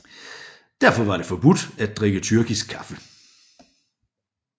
Derfor var det forbudt at drikke tyrkisk kaffe